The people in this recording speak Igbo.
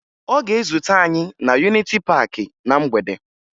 Ọ ga-ezute anyị na Yuniti Paakị na mgbede